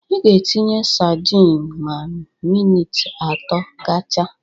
Ị ga-etinye sadin ma minit atọ gachaa